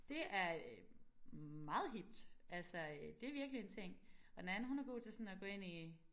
Det er meget hipt altså det virkelig en ting og den anden hun er god til sådan at gå ind i